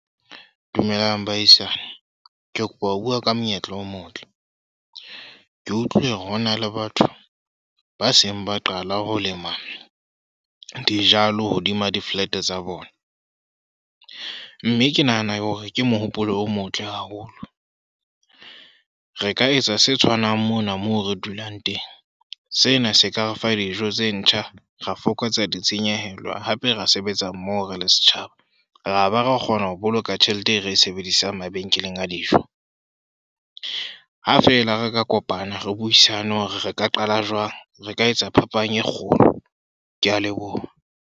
Dumelang bahaisane. Ke kopa ho bua ka monyetla o motle. Ke utlwile ho na le batho ba seng ba qala ho lema dijalo hodima di-flat tsa bona. Mme ke nahana hore ke mohopolo o motle haholo. Re ka etsa se tshwanang mona moo re dulang teng. Sena se ka re fa dijo tse ntjha, ra fokotsa ditshenyehelo hape re sebetsa mmoho re le setjhaba. Ra ba ra kgona ho boloka tjhelete e re e sebedisang mabenkeleng a dijo. Ha fela re ka kopana, re buisane hore re ka qala jwang. Re ka etsa phapang e kgolo. Ke a leboha.